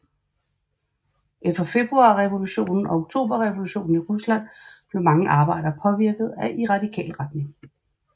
Efter februarrevolutionen og oktoberrevolutionen i Rusland blev mange arbejdere påvirket i radikal retning